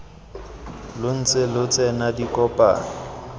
lo ntse lo tsena dikopano